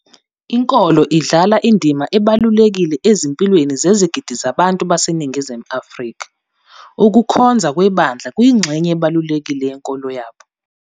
Inkolo idlala indima ebalulekile ezimpilweni zezigidi zabantu baseNingizimu Afri ka, ukukhonza kwebandla kuyingxenye ebalulekile yenkolo yabo.